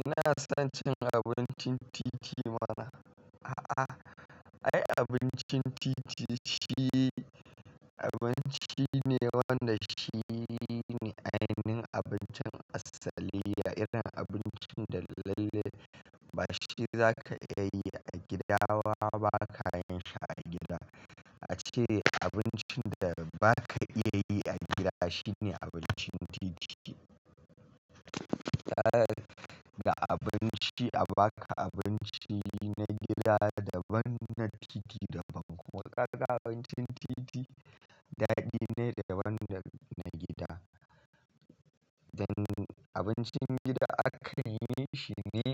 Ina son cin abincin titi mana. A'a, ai abincin titi shi abinci ne wanda shi ne ainihin abincin asali. Ya irin abincin da lalle ba shi za ka iya yi a gida wa ba, kayan shi a gida. A ce abincin da ba ka iya yi a gida shi ne abincin titi. Yana da abinci a baka, abinci na gida daban na titi daban. Kuma kaga abincin titi daɗi ne daban dana gida. Dan abincin gida aka yi shi ne